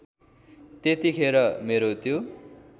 त्यतिखेर मेरो त्यो